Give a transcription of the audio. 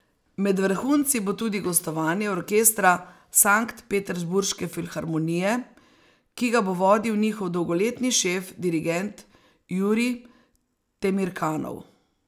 Med vrhunci bo tudi gostovanje Orkestra Sanktpeterburške filharmonije, ki ga bo vodil njihov dolgoletni šef dirigent Jurij Temirkanov.